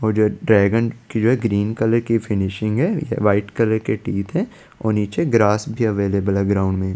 मुझे ड्रैगन की जो है ग्रीन कलर की फिनिशिंग है वाइट कलर के टीथ है और नीचे ग्रास भी अवेलेबल है ग्राउंड में--